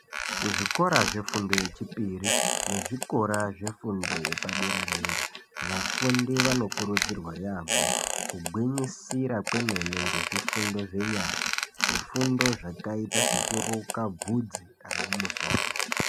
Kuzvikora zvefundo yechipiri nezvikora zvefundo yepadera-dera, vafundi vanokurudzirwa yaamho kugwinyisira kwemene zvifundo zvenyara, zvifundo zvakaita sekuruka bvudzi remumusoro.